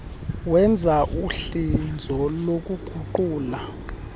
wenza uhlinzo lokuguqula